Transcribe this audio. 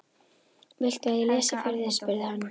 Viltu að ég lesi fyrir þig? spurði hann.